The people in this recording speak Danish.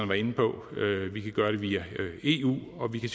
var inde på vi kan gøre det via eu og vi kan